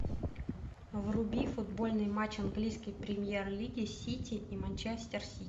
вруби футбольный матч английской премьер лиги сити и манчестер сити